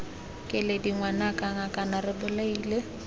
keledi ngwanaka ngakane re bolaile